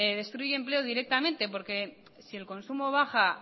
destruye empleo directamente porque si el consumo baja